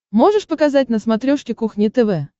можешь показать на смотрешке кухня тв